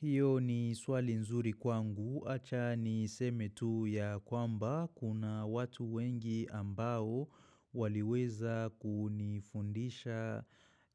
Hiyo ni swali nzuri kwangu, acha niseme tu ya kwamba kuna watu wengi ambao waliweza kunifundisha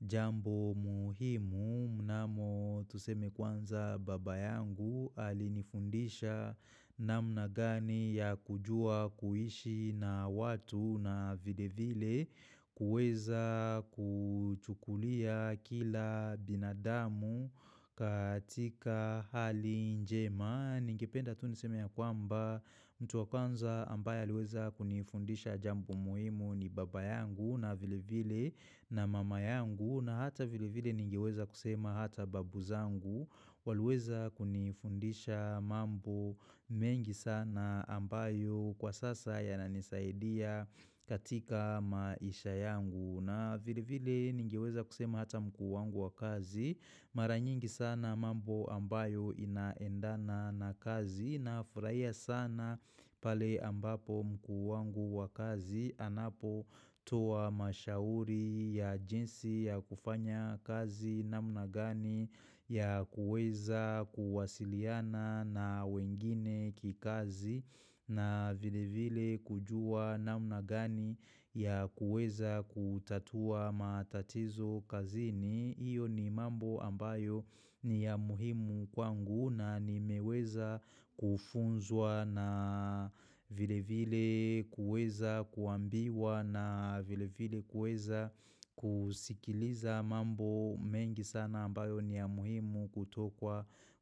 jambo muhimu. Mnamo tuseme kwanza baba yangu alinifundisha namna gani ya kujua kuishi na watu na vile vile kuweza kuchukulia kila binadamu katika hali njema ningependa tu niseme ya kwamba mtu wa kwanza ambaye aliweza kunifundisha jambo muhimu ni baba yangu na vile vile na mama yangu na hata vile vile ningeweza kusema hata babu zangu waliweza kunifundisha mambo mengi sana ambayo kwa sasa yananisaidia katika maisha yangu na vile vile nigeweza kusema hata mkuu wangu wa kazi maranyingi sana mambo ambayo inaendana na kazi nafurahia sana pale ambapo mkuu wangu wa kazi anapotoa mashauri ya jinsi ya kufanya kazi namna gani ya kuweza kuwasiliana na wengine kikazi na vile vile kujua namna gani ya kuweza kutatua matatizo kazini. Iyo ni mambo ambayo ni ya muhimu kwangu na nimeweza kufunzwa na vile vile kuweza kuambiwa na vile vile kuweza kusikiliza mambo mengi sana ambayo ni ya muhimu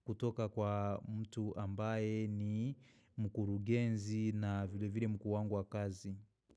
kutoka kwa mtu ambaye ni mkurugenzi na vile vile mkuu wangu wa kazi.